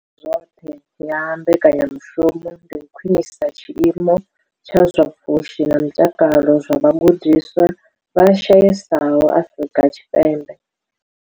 zwoṱhe ya mbekanya mushumo ndi u khwinisa tshiimo tsha zwa pfushi na mutakalo zwa vhagudiswa vha shayesaho Afrika Tshipembe.